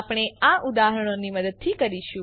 આપણે આ ઉદાહરણોની મદદથી કરીશું